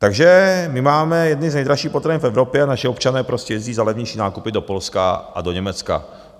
Takže my máme jedny z nejdražších potravin v Evropě a naši občané prostě jezdí za levnějšími nákupy do Polska a do Německa.